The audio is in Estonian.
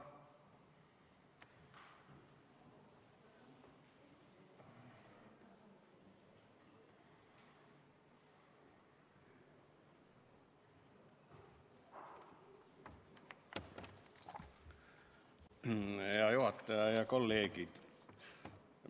Hea juhataja ja head kolleegid!